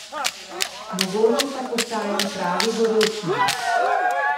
Mogoče pa postajam pravi gorečnež.